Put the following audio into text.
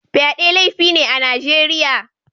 Fyade laifi ne a Najeriya